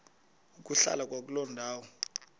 ukuhlala kwakuloo ndawo